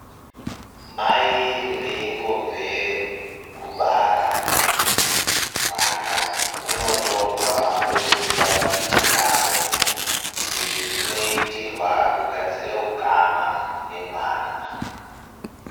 Mai veingobve kubara, mwana unotorwa oiswe paditi ravo. Izvi zvinoitirwa kugadzire ukama nemwana